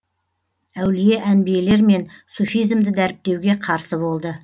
әулие әнбиелер мен суфизмді дәріптеуге қарсы болды